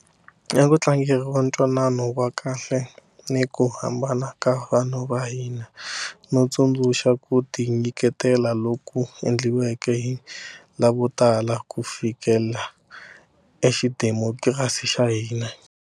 A ku tlangeriwa ntwanano wa kahle ni ku hambana ka vanhu va hina, no tsundzuxa ku tinyiketela loku endliweke hi lavotala ku fikelela xidemokirasi xa hina.